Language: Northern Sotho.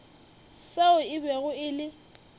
seo e bego e le